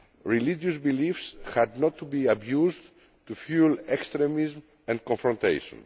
Religious beliefs were not to be abused to fuel extremism and confrontation.